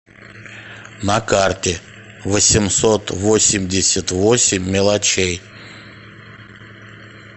на карте восемьсот восемьдесят восемь мелочей